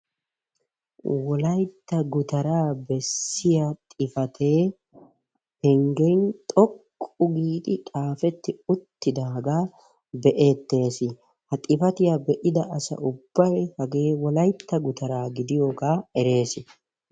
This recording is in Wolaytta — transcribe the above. Wolaytta gutara bessiyaa xifaate penggen xoqqu giidi xaafeti uttidaga be'etees. Ha xifaatiya be'ida asa ubbay hagee wolaytta gutaraa gidiyogaa erees.